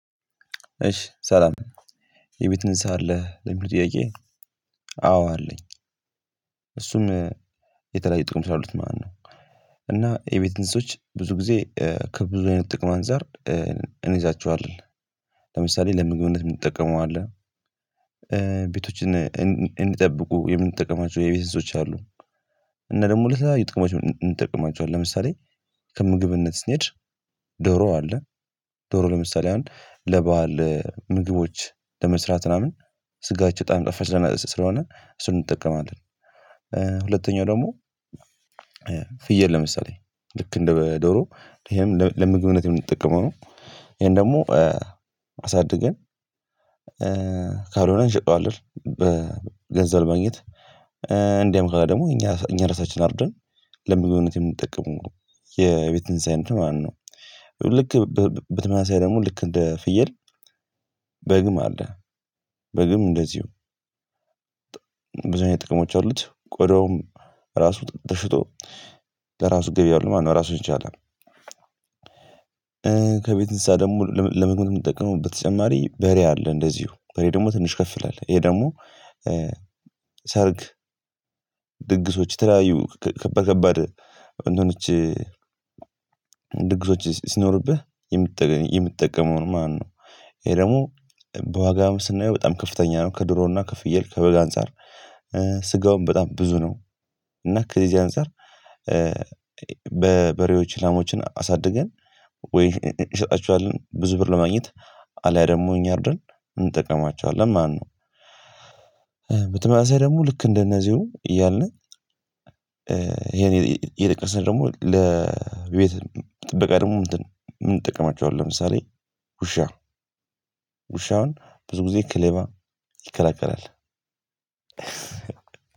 እሺ ሰላም የቤት ንስሃ አለህ ለሚሉ ጥያቄ አዎ አለኝ። እሱም የተለያዩ ጥቅም ስላሉት ማለት ነው። እና የቤት እንስሶች ብዙ ጊዜ ከብዙ አይነት ጥቅም አንፃር እንይዛችኋለን። ለምሳሌ ለምግብነት የምንትጠቀመው አለ ቤቶችን እንድንጠብቁ የምንጠቀማቸው የቤት እንስሶች አሉ። እና ደግሞ ለተለያዩ ጥቅሞች እንጠቀማቸዋለን ለምሳሌ ከምግብነት ስንሄድ ዶሮ አለ ዶሮ ለምሳሌ አሁን ለበአል ምግቦች ለመስራት ምናምን ስጋቸው በጣም ጣፋጭ ስለሆነ እሱን እንጠቀማለን። ሁለተኛው ደግሞ ፍየል ለምሳሌ ልክ እንደ ዶሮ ይሄም ለምግብነት የምንጠቀመው ይሄን ደግሞ አሳድገን ካልሆነ እንሸጠዋለን በገንዘብ ማግኘት። እንዳም ካለ ደግሞ እኛ እኛ እራሳቺን አርደን ለምግብነት የምንጠቀመው ነው የቤት እንስሳ አይነት ማለት ነው። ልክ በተመሳሳይ ደግሞ ልክ እንደ ፍየል በግም አለ በግም እንደዚሁ ብዙ አይነት ጥቅሞች አሉት ቆዳውም ራሱ ተሽቶ ለራሱ ገቢ አለው ማለት ነው ራሱን ይቻላል። ከቤት እንስሳ ደግሞ ለምግብ የምንጠቀመው በተጨማሪ በሬ አለ እንደዚሁ በሬ ደግሞ ትንሽ ከፍ ይላል ይሄ ደግሞ ሰርግ ድግሶች የተለያዩ ከበደ ከበደ እንትኖች ድግሶች ሲኖርብህ የምትጠቀመውን ማለት ነው። ይሄ ደግሞ በዋጋም ስናየው በጣም ከፍተኛ ነው ከዶሮና ከፍየል ከበግ አንፃር። ስጋውን በጣም ብዙ ነው እና ከዚህ አንፃር በበሬዎች ላሞችን አሳድገን ወይ እንሸጣቼዋለን ብዙ ብር ለማግኘት አልያ ደግሞ እኛ አርደን እንጠቀማዋለን ማለት ነው። በተመሳሳይ ደግሞ ልክ እንደነዚሁ እያልን ይሄን ይልቅስ ደግሞ ለቤት ጥበቃ ደግሞ ምን እንጠቀማቸዋለን? ለምሳሌ ውሻ ውሻ አሁን ብዙ ጊዜ ክሌባ ይከላከላል።